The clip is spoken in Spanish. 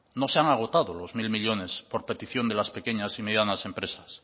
no se han agotado los mil millónes por petición de las pequeñas y medianas empresas